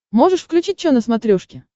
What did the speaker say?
можешь включить чо на смотрешке